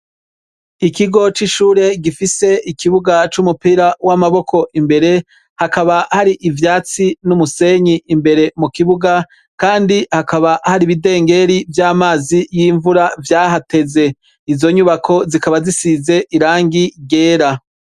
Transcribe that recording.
Ikigo c'ishure gifise ikibuga c'umupira w'amaboko imbere; hakaba hari ivyatsi n'umusenyi imbere mu kibuga; kandi hakaba hari ibidengeri vy'amazi y'imvura vyahateze. Izo nyubako zikaba zisize irangi ryera.